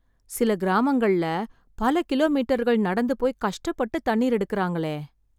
சில கிராமங்கள்ள பல கிலோமீட்டர்கள் நடந்துபோய் கஷ்டப்பட்டு, தண்ணீர் எடுக்கறாங்களே..